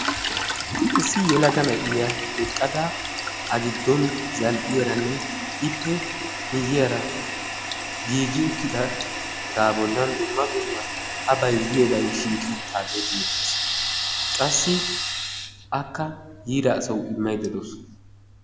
Issi yelaga na'iyaa eqqada a giddon zal"iyaara ippe miyiyaara giigi uttidaagaa bollan dumma dumma a bayzziyoobay shiqi uttagee beettees. qassi akka yiida aswu immayda beettawus.